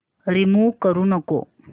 remove करू नको